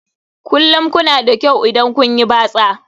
Kullum kuna da kyau idan kun yi batsa